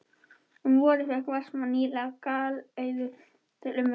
Um vorið fékk Vestmann nýlega galeiðu til umráða.